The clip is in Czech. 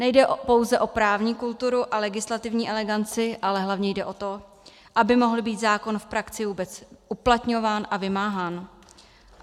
Nejde pouze o právní kulturu a legislativní eleganci, ale hlavně jde o to, aby mohl být zákon v praxi vůbec uplatňován a vymáhán.